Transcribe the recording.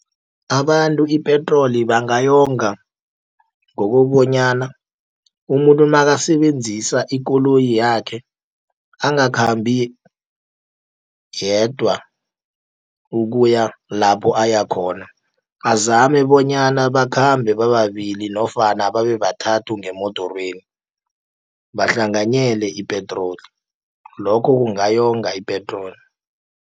Abantu ipetroli bangayonga ngokobonyana, umuntu nakasebenzisa ikoloyi yakhe angakhambi yedwa ukuya lapho ayakhona, azame bonyana bakhambe bababili nofana babe bathathu ngemodorweni, bahlanganyele ipetroli. Lokho kungayonga ipetroli.